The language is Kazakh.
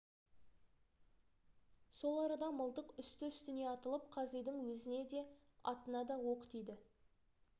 сол арада мылтық үсті-үстіне атылып қазидың өзіне де атына да оқ тиді